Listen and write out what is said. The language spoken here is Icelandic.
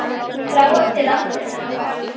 Þrá eftir landinu hennar fagra.